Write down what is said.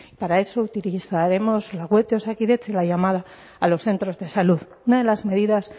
para eso utilizaremos la web de osakidetza y la llamada a los centros de salud unas de las medidas